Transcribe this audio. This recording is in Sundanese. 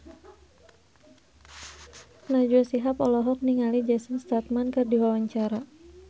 Najwa Shihab olohok ningali Jason Statham keur diwawancara